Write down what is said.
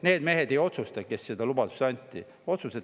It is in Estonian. Need mehed, kes selle lubaduse andsid, ei otsusta.